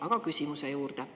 Aga küsimuse juurde.